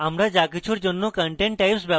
আমরা যা কিছুর জন্য content types ব্যবহার করতে পারি